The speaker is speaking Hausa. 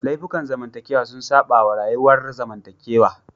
Laifukan zamantakewa sun saba wa rayuwar zamantakewa